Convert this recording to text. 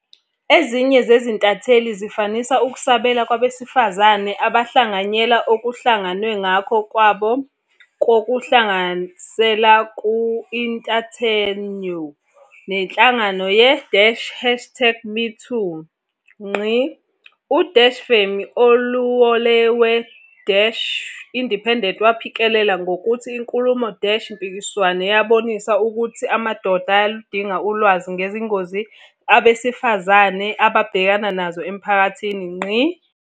Ezinye zezintatheli zafanisa ukusabela kwabesifazane abahlanganyela okuhlangenwe nakho kwabo kokuhlasela ku-inthanethio nenhlangano ye-hashtag MeToo. U-Femi Oluwole we-Independent waphikelela ngokuthi inkulumo-mpikiswano yabonisa ukuthi amadoda ayaludinga ulwazi ngezingozi abesifazane ababhekana nazo emphakathini.